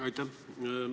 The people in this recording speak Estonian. Aitäh!